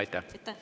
Aitäh!